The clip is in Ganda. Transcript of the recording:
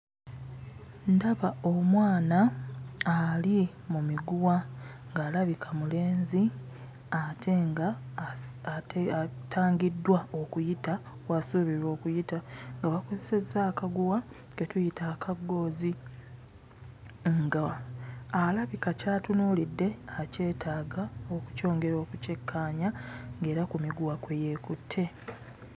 Ndaba omwana ali mu miguwa ng'alabika mulenzi ate ng'atangiddwa okuyita w'asuubirwa okuyita nga bakozesezza akaguwa ke tuyita aka ggoozi. Ng'alabika ky'atunuulidde akyetaaga okukyongera okukyekkaanya, ng'era ku miguwa kwe yeekutte.